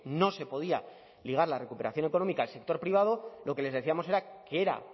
no se podía ligar la recuperación económica al sector privado lo que les decíamos era que era